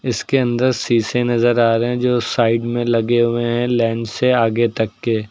इसके अंदर शीशे नजर आ रहे हैं जो साइड में लगे हुए हैं लाईन से आगे तक के।